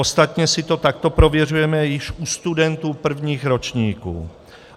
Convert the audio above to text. Ostatně si to takto prověřujeme již u studentů prvních ročníků.